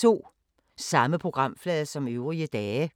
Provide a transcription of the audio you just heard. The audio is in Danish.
Samme programflade som øvrige dage